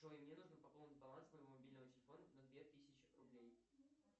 джой мне нужно пополнить баланс моего мобильного телефона на две тысячи рублей